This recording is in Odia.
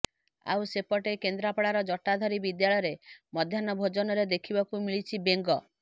ଆଉ ସେପଟେ କେନ୍ଦ୍ରାପଡାର ଜଟାଧାରୀ ବିଦ୍ୟାଳୟରେ ମଧ୍ୟାହ୍ନ ଭୋଜନରେ ଦେଖିବାକୁ ମିଳିଛି ବେଙ୍ଗ